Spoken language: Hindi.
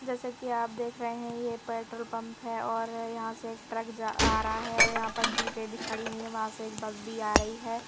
जैसे कि आप देख रहे हैं ये पेट्रोल पंप हैं और यहाँ से एक ट्रक जा आ रहा हैं और यहाँ पर जीपे भी खड़ी हुई हैं वहाँ से एक बस भी आ रही हैं।